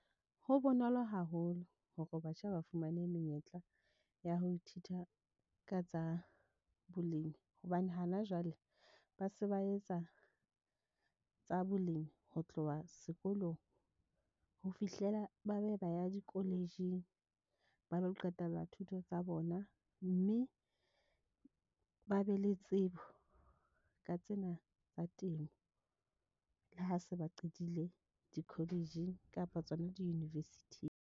Ho bonolo haholo hore batjha ba fumane menyetla ya ho ithuta ka tsa bolemi hobane hana jwale ba se ba etsa, tsa bolemi ho tloha sekolong ho fihlela. Ba be ba ya di college-ing ba lo qetella thuto tsa bona mme ba be le tsebo ka tsena tsa temo, le ha se ba qetile di college-ing kapa tsona di university-ng.